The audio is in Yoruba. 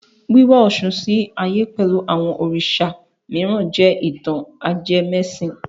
Wíwá Ọ̀ṣun sí ayé pẹ̀lú àwọn Òrìṣà mìíràn jẹ́ ìtàn ajẹmẹ́sìn.